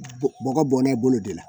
Bɔgɔ bɔn n'e bolo de la